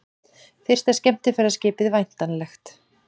Fyrsta skemmtiferðaskipið væntanlegt